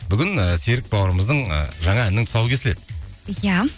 бүгін ііі серік бауырымыздың ы жаңа әнінің тұсауы кесіледі иә